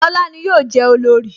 Lóla ni yọ je olorì